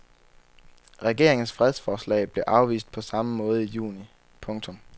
Regeringens fredsforslag blev afvist på samme måde i juni. punktum